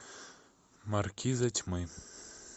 маркиза тьмы